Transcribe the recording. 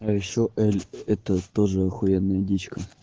а ещё эль это тоже ахуенная дичка